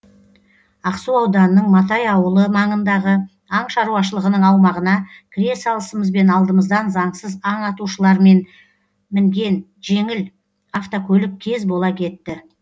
ақсу ауданының матай ауылы маңындағы аң шаруашылығының аумағына кіре салысымызбен алдымыздан заңсыз аң атушылар мінген жеңіл автокөлік кез бола кетті